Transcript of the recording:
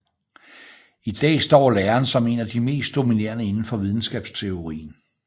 I dag står læren som en af de mest dominerende inden for videnskabsteorien